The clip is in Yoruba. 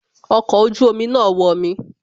Ọkọ̀ ojú omi náà wọmi